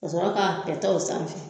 Ka sɔrɔ ka kɛtɛ o sanfɛ.